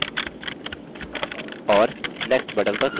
और next button पर click करेंगे